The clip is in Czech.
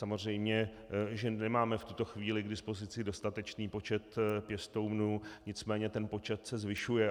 Samozřejmě že nemáme v tuto chvíli k dispozici dostatečný počet pěstounů, nicméně ten počet se zvyšuje.